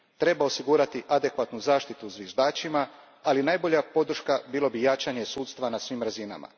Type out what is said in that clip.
Treba osigurati adekvatnu zaštitu zviždačima, ali najbolja podrška bilo bi jačanje sudstva na svim razinama.